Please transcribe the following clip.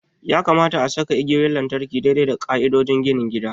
Ya kamata a saka igiyoyin lantarki daidai da ƙa'idodin ginin gida.